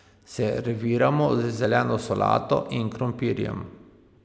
Serviramo z zeleno solato in krompirjem.